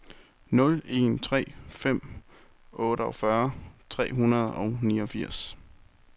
nul en tre fem otteogfyrre tre hundrede og niogfirs